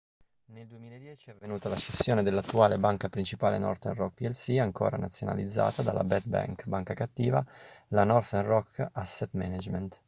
nel 2010 è avvenuta la scissione dell'attuale banca principale northern rock plc ancora nazionalizzata dalla 'bad bank' banca cattiva la northern rock asset management